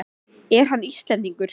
Er hann Íslendingur?